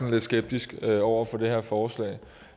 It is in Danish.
lidt skeptisk over for det her forslag